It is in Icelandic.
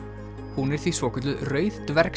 hún er því svokölluð rauð